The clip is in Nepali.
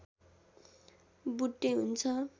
बुट्टे हुन्छ